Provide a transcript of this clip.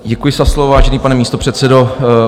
Děkuji za slovo, vážený pane místopředsedo.